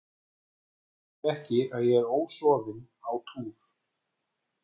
Sérðu ekki að ég er ósofin á túr.